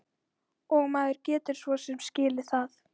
Og maður getur svo sem skilið það.